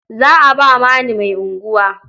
Za a ba Mani mai unguwa.